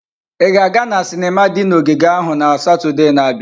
Ị ga-aga na sinima di na ogige ahụ na Satọde na-abịa?